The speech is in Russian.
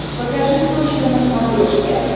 покажи точка на смотрешке